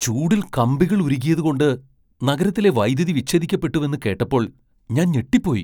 ചൂടിൽ കമ്പികൾ ഉരുകിയതുകൊണ്ട് നഗരത്തിലെ വൈദ്യുതി വിച്ഛേദിക്കപ്പെട്ടുവെന്ന് കേട്ടപ്പോൾ ഞാൻ ഞെട്ടിപ്പോയി!